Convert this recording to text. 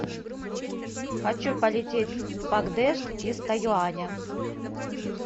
хочу полететь в пакдешт из тайюаня